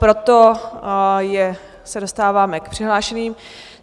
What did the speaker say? Proto se dostáváme k přihlášeným.